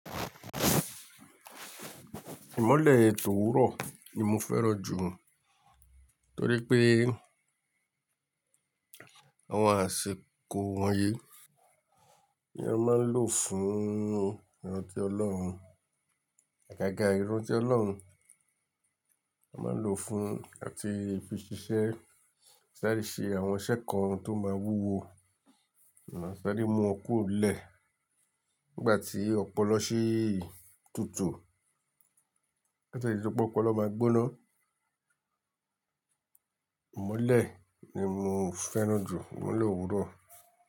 Ìmọ́lẹ̀ òwúrọ̀ ni mo fẹ́ràn jù torípé àwọn àsìkò wọ̀nyí ni a máa ń lò fún ẹ̀rántí Ọlọ́run. Àgàgà irun ti Ọlọ́run a máa lò fún àti fi ṣiṣẹ́ sáré ṣe àwọn iṣẹ́ kan tó máa wúwo. Sáré mú wọn kúrò nílé nígbà tí ọpọlọ sì tútù. Kó tó dìpé ọpọlọ máa gbóná. Ìmọ́lẹ̀ ni mo fẹ́ràn jù, ìmọ́lẹ̀ òwúrọ̀.